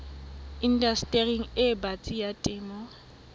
indastering e batsi ya temo